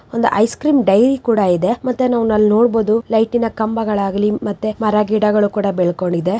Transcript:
ಒಂದು ice cream dairy ಕೂಡ ಇದೆ ಮತ್ತೆ ನಾವು ಅಲ್ಲಿ ನೋಡಬಹುದು ಲೈಟಿನ ಕಂಬಗಳಾಗಲಿ ಮತ್ತೆ ಮರ ಗಿಡಗಳು ಬೆಳಕೊಂಡಿದೆ.